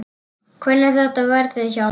Hvernig þetta verði hjá mér.